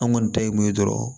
An kɔni ta ye mun ye dɔrɔn